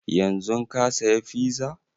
Yanzun ka saya fiza?